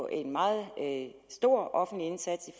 en meget stor offentlig indsats